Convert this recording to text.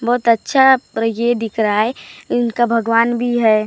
बहोत अच्छा और ये दिख रहा है इनका भगवान भी है।